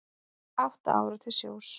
Átta ára til sjós